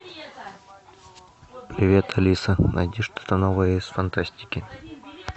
привет алиса найди что то новое из фантастики